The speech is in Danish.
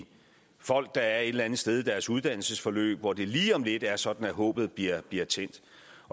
folk der er et eller andet sted i deres uddannelsesforløb hvor det lige om lidt er sådan at håbet bliver bliver tændt